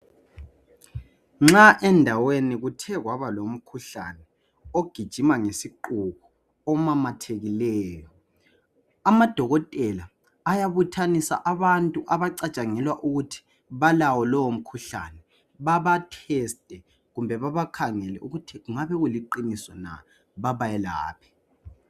Nxa endaweni kuthe kwaba lomkhuhlane ogijima ngesiqubu omamathekileyo, amadokotela ayabuthanisa abantu abacatshangelwa ukuthi balawo lowo mkhuhlane baba teste kumbe babakhangele ukuthi kungabe kuliqiniso na babayelaphe.